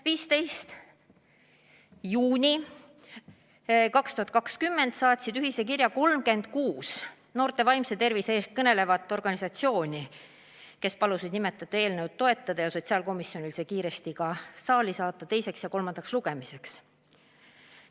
15. juunil 2020 saatsid ühise kirja 36 noorte vaimse tervise eest kõnelevat organisatsiooni, kes palusid sotsiaalkomisjonil seda eelnõu toetada ja see kiiresti teiseks ja kolmandaks lugemiseks saali saata.